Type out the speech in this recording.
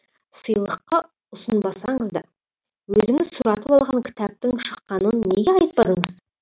сыйлыққа ұсынбасаңыз да өзіңіз сұратып алған кітаптың шыққанын неге айтпадыңыз